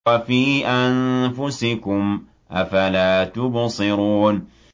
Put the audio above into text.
وَفِي أَنفُسِكُمْ ۚ أَفَلَا تُبْصِرُونَ